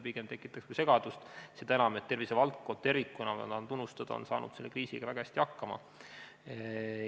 See tekitaks pigem segadust, seda enam, et tervisevaldkond tervikuna – ma tahan neid tunnustada – on selle kriisiga väga hästi hakkama saanud.